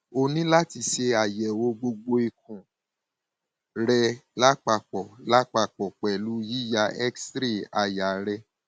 o ní láti ṣe àyẹwò gbogbo ikùn rẹ lápapọ lápapọ pẹlú yíya xray àyà rẹ